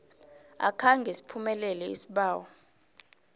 akhange siphumelele isibawo